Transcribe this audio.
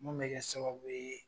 Mun bɛ kɛ sababu ye